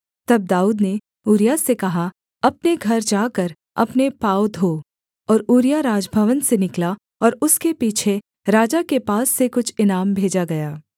तब दाऊद ने ऊरिय्याह से कहा अपने घर जाकर अपने पाँव धो और ऊरिय्याह राजभवन से निकला और उसके पीछे राजा के पास से कुछ इनाम भेजा गया